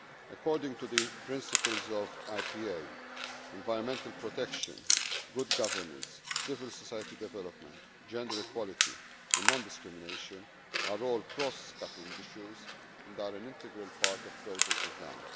According to the principles of IPA, environmental protection, good governance, civil society development, gender equality and non discrimination are all cross cutting issues and are an integral part of project design.